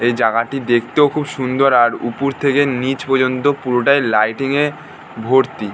এই জায়গাটি দেখতেও খুব সুন্দর আর উপর থেকে নিচ পর্যন্ত পুরোটাই লাইটিং এ ভর্তি।